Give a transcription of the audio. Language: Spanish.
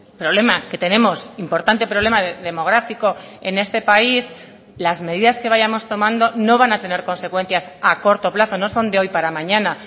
problema que tenemos importante problema demográfico en este país las medidas que vayamos tomando no van a tener consecuencias a corto plazo no son de hoy para mañana